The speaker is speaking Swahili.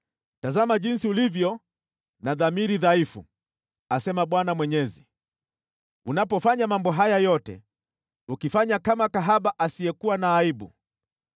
“ ‘Tazama jinsi ulivyo na dhamiri dhaifu, asema Bwana Mwenyezi, unapofanya mambo haya yote, ukifanya kama kahaba asiyekuwa na aibu!